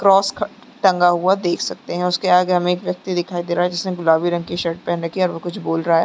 Cross ख टंगा हुआ देख सकते है उसके आगे हमें एक व्यक्ति दिखाई दे रहा है जिसने गुलाबी रंग की शर्ट पहन रखी है और वो कुछ बोल रहा है ।